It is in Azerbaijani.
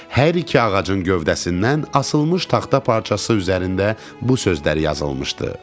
Hər iki ağacın gövdəsindən asılmış taxta parçası üzərində bu sözlər yazılmışdı: